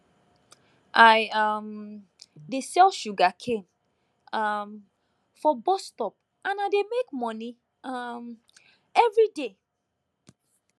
i um dey sell sugarcane um for bus stop and i dey make money um everyday